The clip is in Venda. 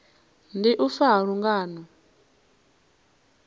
ndi u fa ha lungano